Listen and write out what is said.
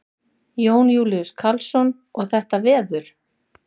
Jón Júlíus Karlsson: Og þetta veður?